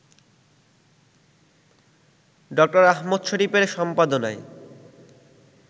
doctor Ahmad শরীফের সম্পাদনায়